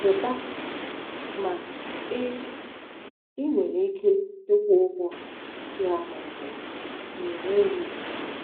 Zụta! ” ma ị ị nwere ike ịkwụ ụgwọ ya ma ọ bụ na ị inweghi.